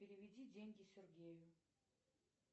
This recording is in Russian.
переведи деньги сергею